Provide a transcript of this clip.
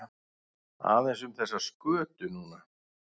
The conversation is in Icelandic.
Aðeins um þessa skötu núna?